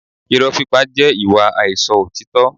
Irọ́ pípa jẹ́ ìwà àìsọ òtítọ́